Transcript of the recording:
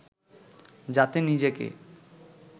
যাতে নিজেকে